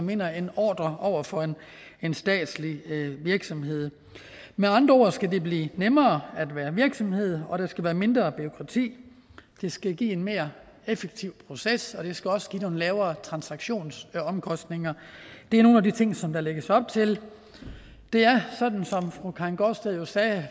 vinder en ordre over for en statslig virksomhed med andre ord skal det blive nemmere at være virksomhed og der skal være mindre bureaukrati det skal give en mere effektiv proces og det skal også give nogle lavere transaktionsomkostninger det er nogle af de ting som der lægges op til der er sådan som fru karin gaardsted jo sagde